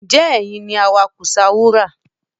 Ǹjẹ́ ẹ̀yin ni awakùsà wúrà